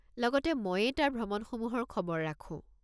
লগতে ময়েই তাৰ ভ্ৰমণসমূহৰ খবৰ ৰাখো।